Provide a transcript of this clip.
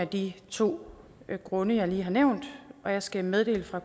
de to grunde jeg lige har nævnt og jeg skal meddele fra